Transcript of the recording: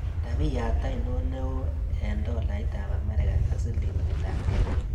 Rabiyaat ainon neo eng' tolaitap amerika ak silingiitapkenya